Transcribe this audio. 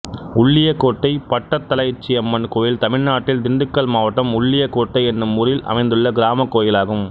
உள்ளியக்கோட்டை பட்டத்தலைச்சியம்மன் கோயில் தமிழ்நாட்டில் திண்டுக்கல் மாவட்டம் உள்ளியக்கோட்டை என்னும் ஊரில் அமைந்துள்ள கிராமக் கோயிலாகும்